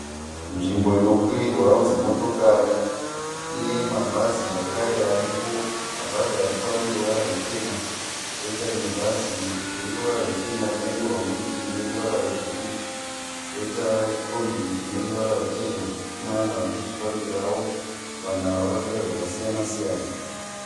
Nzvimbo inokwirirwa dzimotikari. Ine mabhazi zvekare aripo. Mabhazi aripo ane ruvara ruchena kwoita rimwe bhazi rine ruvara ruchena rakanyorwa murutivi neruvara rwebhuruu. Kwoita kombi ine ruvara ruchena. Kune vanhu vakuzvifambirawo. Vanhu ava vakapfeka zvakasiyana siyana.